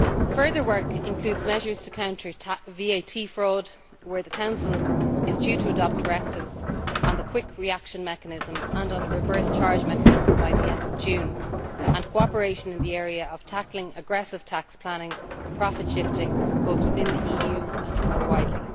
Further work includes measures to counter VAT fraud, where the Council is due to adopt directives on the Quick Reaction Mechanism and on the Reverse Charge Mechanism by the end of June, and cooperation in the area of tackling aggressive tax planning and profit shifting, both within the EU and more widely.